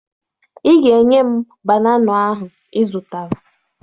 Ị ga-enye m banana ahụ ị zụtara